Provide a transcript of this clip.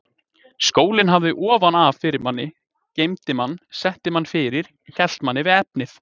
Skólinn hafði ofan af fyrir manni, geymdi mann, setti manni fyrir, hélt manni við efnið.